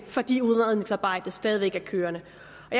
fordi udredningsarbejdet stadig væk kører